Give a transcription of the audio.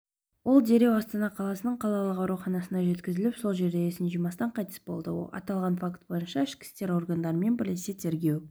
ол дереу астана қаласының қалалық ауруханасына жеткізіліп сол жерде есін жимастан қайтыс болды аталған факт бойынша ішкі істер органдарымен бірлесе тергеу